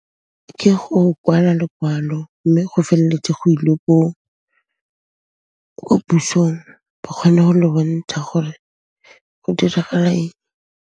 Ke go kwala lokwalo, mme go feleletse go ilwe ko pusong ba kgone go le bontsha gore go diragala eng.